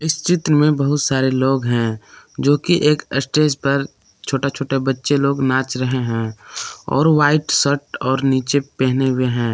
इस चित्र में बहुत सारे लोग हैं जो कि एक स्टेज पर छोटे छोटे बच्चे लोग नाच रहे हैं और व्हाइट शर्ट और नीचे पहने हुए हैं।